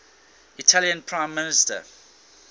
italian prime minister